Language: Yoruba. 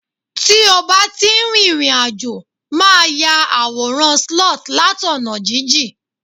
ti o ba ti n rìrìn àjò, ma ta àwòràn sloth lat ọna jijìn